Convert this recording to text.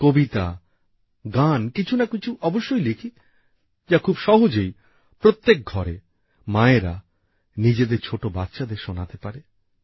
কবিতা গান কিছুনাকিছু অবশ্যই লিখি যা খুব সহজেই প্রত্যেক ঘরে মায়েরা নিজেদের ছোট বাচ্চাদের শোনাতে পারে